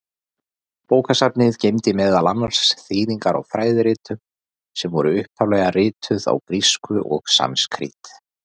Bókasafnið geymdi meðal annars þýðingar á fræðiritum, sem voru upphaflega rituð á grísku og sanskrít.